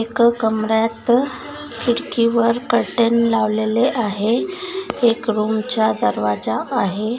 एक कमर्‍यात खिडकी वर कर्टन लावलेले आहे एक रूमचा दरवाजा आहे.